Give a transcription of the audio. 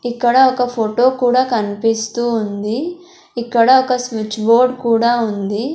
ఇక్కడ ఒక ఫోటో కూడా కన్పిస్తూ ఉంది ఇక్కడ ఒక స్విచ్ బోర్డ్ కూడా ఉంది.